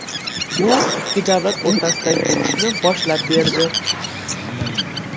Bu ikki davlat o‘rtasidagi urushni boshlab berdi.